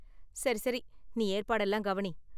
சரி சரி நீ ஏற்பாடெல்லாம் கவனி.